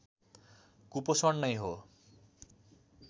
कुपोषण नै हो